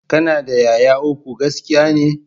Ka na da 'ya'ya uku, gaskiya ne?